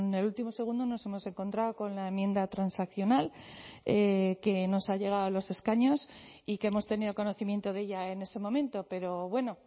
el último segundo nos hemos encontrado con la enmienda transaccional que nos ha llegado a los escaños y que hemos tenido conocimiento de ella en ese momento pero bueno